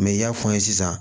i y'a fɔ n ye sisan